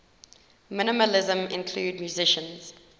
minimalism include musicians